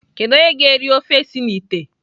Kedu onye ga-eri ofe si na ite?